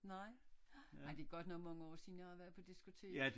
Nej nej det er godt nok mange år siden jeg har været på diskotek